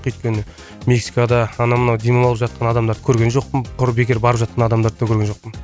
өйткені мексикада анау мынау демалып жатқан адамдарды көрген жоқпын құр бекер барып жатқан адамдарды да көрген жоқпын